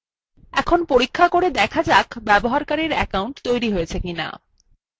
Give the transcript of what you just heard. এখন পরীক্ষা করে দেখা যাক ব্যবহারকারীর অ্যাকাউন্ট তৈরি হয়েছে কিনা